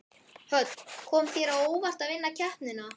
Hödd: Kom það þér á óvart að vinna keppnina?